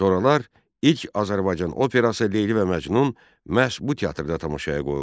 Sonralar ilk Azərbaycan operası Leyli və Məcnun məhz bu teatrda tamaşaya qoyuldu.